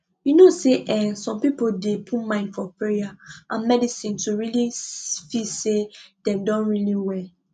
you know say eeh some people dey put mind for payer and medicine to really feel say dem don really well